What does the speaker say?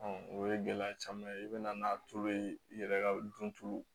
o ye gɛlɛya caman ye i bɛ na n'a tulo ye i yɛrɛ ka dun